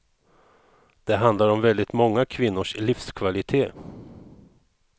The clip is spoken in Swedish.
Det handlar om väldigt många kvinnors livskvalitet.